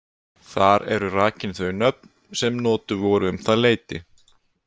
Þar eru rakin þau nöfn sem notuð voru um það leyti.